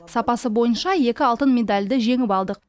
сапасы бойынша екі алтын медальді жеңіп алдық